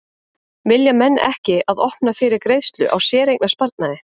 Vilja menn ekki að opna fyrir greiðslu á séreignasparnaði?